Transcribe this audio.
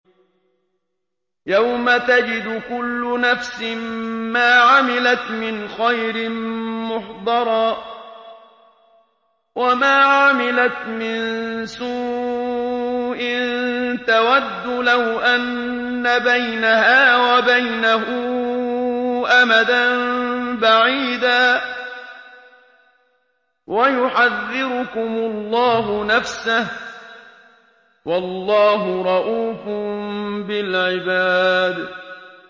يَوْمَ تَجِدُ كُلُّ نَفْسٍ مَّا عَمِلَتْ مِنْ خَيْرٍ مُّحْضَرًا وَمَا عَمِلَتْ مِن سُوءٍ تَوَدُّ لَوْ أَنَّ بَيْنَهَا وَبَيْنَهُ أَمَدًا بَعِيدًا ۗ وَيُحَذِّرُكُمُ اللَّهُ نَفْسَهُ ۗ وَاللَّهُ رَءُوفٌ بِالْعِبَادِ